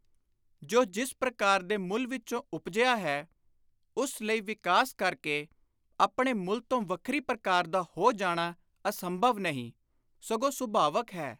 ਜੋ ਜਿਸ ਪ੍ਰਕਾਰ ਦੇ ਮੂਲ ਵਿਚੋਂ ਉਪਜਿਆ ਹੈ ਉਸ ਲਈ ਵਿਕਾਸ ਕਰ ਕੇ ਆਪਣੇ ਮੁਲ ਤੋਂ ਵੱਖਰੀ ਪ੍ਰਕਾਰ ਦਾ ਹੋ ਜਾਣਾ ਅਸੰਭਵ ਨਹੀਂ, ਸਗੋਂ ਸੁਭਾਵਕ ਹੈ।